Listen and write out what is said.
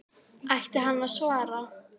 Ætti hann að svara?